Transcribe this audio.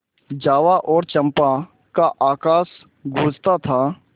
जावा और चंपा का आकाश गँूजता था